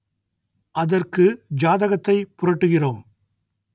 அதற்கு ஜாதகத்தை புரட்டுகிறோம்